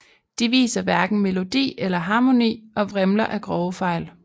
De viser hverken melodi eller harmoni og vrimler af grove fejl